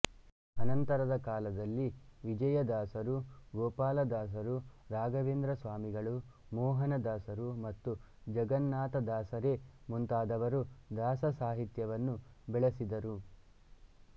ಅನಂತರಕಾಲದಲ್ಲಿ ವಿಜಯದಾಸರು ಗೋಪಾಲದಾಸರು ರಾಘವೇಂದ್ರ ಸ್ವಾಮಿಗಳು ಮೋಹನದಾಸರು ಮತ್ತು ಜಗನ್ನಾಥದಾಸರೇ ಮುಂತಾದವರು ದಾಸಸಾಹಿತ್ಯವನ್ನು ಬೆಳೆಸಿದರು